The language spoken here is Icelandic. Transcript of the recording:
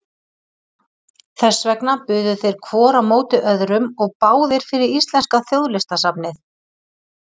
Þess vegna buðu þeir hvor á móti öðrum og báðir fyrir íslenska þjóðlistasafnið!